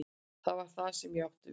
Það var það sem ég átti við.